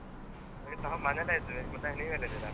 ನಾವ್ ಮನೆಯಲ್ಲಿ ಇದ್ವಿ, ಮತ್ತೆ ನೀವೆಲ್ಲಿದ್ದೀರಾ?